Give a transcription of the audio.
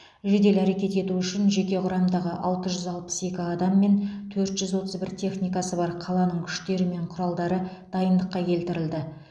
жедел әрекет ету үшін жеке құрамдағы алты жүз алпыс екі адам мен төрт жүз отыз бір техникасы бар қаланың күштері мен құралдары дайындыққа келтірілді